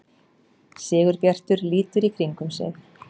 Sigurbjartur lítur í kringum sig.